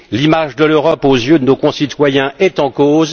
L'image de l'Europe aux yeux de nos concitoyens est en cause.